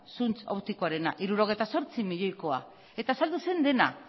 zuntza optikoarena hirurogeita zortzi milioikoa eta saldu zen dena